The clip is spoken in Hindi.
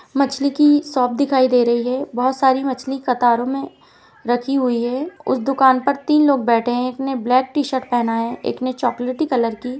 मछली की शॉप दिखाई दे रही है। बहुत सारी मछली कतरो में रखी हुई है। उस दुकान पर तीन लोग बैठे हैं एक ने ब्लैक टी-शर्ट पहना है एक ने चॉकलेटी कलर की।